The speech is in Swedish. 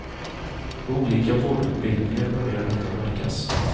På olika vårdutbildningar börjar detta märkas.